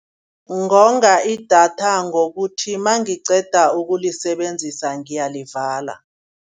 Ngonga idatha ngokuthi nangiqeda ukulisebenzisa ngiyalivala.